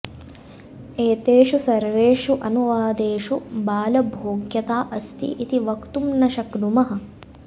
एतेषु सर्वेषु अनुवादेषु बालभोग्यता अस्ति इति वक्तुं न शक्नुमः